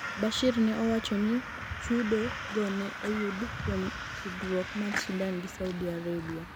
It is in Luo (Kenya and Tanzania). Bashir ne owacho ni chudo go ne oyudo kuom tudruok mar Sudan gi Saudi Arabia